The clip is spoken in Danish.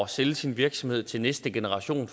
sælge sin virksomhed til næste generation